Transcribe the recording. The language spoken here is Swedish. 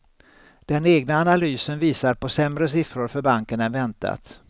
Den egna analysen visar på sämre siffror för banken än väntat.